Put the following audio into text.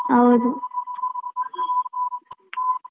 ಹೌದು.